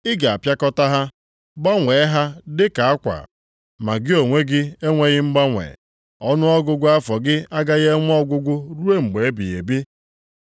Ị ga-apịakọta ha, gbanwee ha dị ka akwa. Ma gị onwe gị enweghị mgbanwe. Ọnụọgụgụ afọ gị agaghị enwe ọgwụgwụ ruo mgbe ebighị ebi.” + 1:12 \+xt Abụ 102:25-27\+xt*